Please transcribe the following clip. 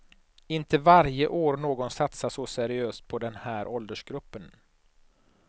Inte varje år någon satsar så seriöst på den här åldersgruppen.